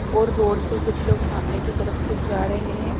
और रोड से कुछ लोग सामने की तरफ से जा रहे हैं।